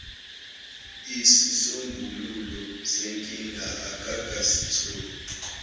isisombululo senkinga akakasitholi